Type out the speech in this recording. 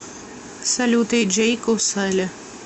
салют эйджей коусаля